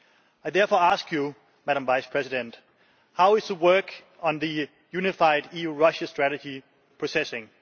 I therefore ask you, Madam Vice President, how is the work on the unified EU Russia strategy progressing?